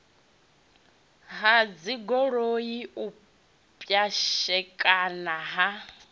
ha dzigoloi u pwashekana ha